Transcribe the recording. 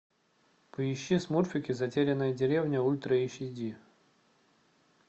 поищи смурфики затерянная деревня ультра эйч ди